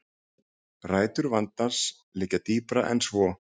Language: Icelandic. Rætur vandans liggja dýpra en svo